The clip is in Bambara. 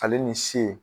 Ale ni ce